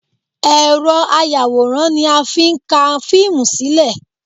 Ẹ̀rọ ayàwòrán ni a fi ń ká fíìmù sílẹ̀